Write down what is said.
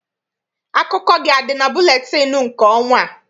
Akụkọ gị adị na buletịịnụ nke ọnwa a?